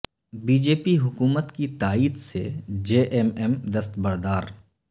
be J P حکومت کی تائیدسے جے ایم ایم دستبردار